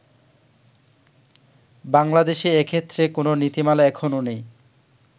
বাংলাদেশে এক্ষেত্রে কোন নীতিমালা এখনো নেই।